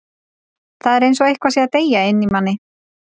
Það er eins og eitthvað sé að deyja inni í manni.